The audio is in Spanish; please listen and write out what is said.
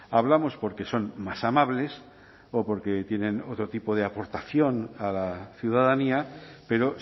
hablamos porque son más amables o porque tienen otro tipo de aportación a la ciudadanía pero